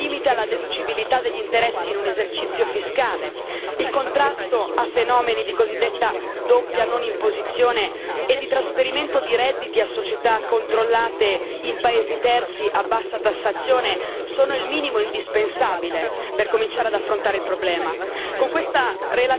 Regole come un limite alla deducibilità degli interessi in un esercizio fiscale, il contrasto a fenomeni di cosiddetta doppia non imposizione e di trasferimento di redditi a società controllate in paesi terzi a bassa tassazione sono il minimo indispensabile per cominciare ad affrontare il problema.